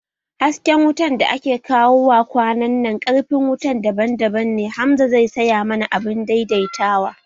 Hasken wutan da ake kawo wa kwananan ƙarfin wutan daban-daban ne, Hamza zai saya mana abun dai dai tawa